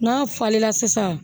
N'a falenna sisan